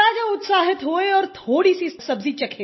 राजा उत्साहित हुए और थोड़ी सी सब्ज़ी चखी